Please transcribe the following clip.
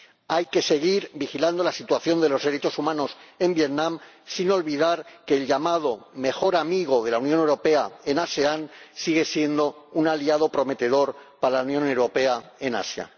Hay que seguir vigilando la situación de los derechos humanos en Vietnam sin olvidar que el llamado mejor amigo de la Unión Europea en la ASEAN sigue siendo un aliado prometedor para la Unión Europea en Asia.